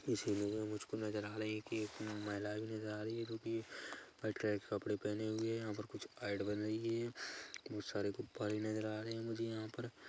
इस इमेज में मुझको नजर आ रहा है की एक महिला भी नजर आ रही है जो की वाइट कलर के कपड़े पहने हुए है यहाँ पर कुछ ऐड बन रही है बहुत सारे गुब्बारे नजर आ रहे हैं मुझे यहाँ पर--